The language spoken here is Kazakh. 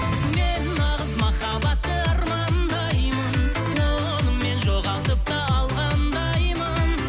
мен нағыз махаббатты армандаймын оны мен жоғалтып та алғандаймын